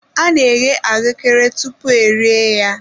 A na eghe ahuekere tupu e rie ya.